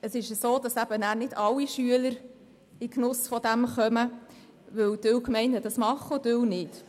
Es kommen aber nicht alle Schüler in den Genuss davon, denn manche Gemeinden machen es, andere nicht.